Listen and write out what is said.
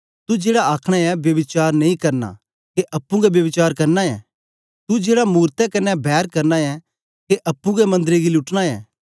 तू जेड़ा अखनां ऐं ब्यभिचार नेई करना के अप्पुं गै ब्यभिचार करना ऐ तू जेड़ा मूरतें क्न्ने बैर करना ऐं के अप्पुं गै मंदरें गी लूटना ऐ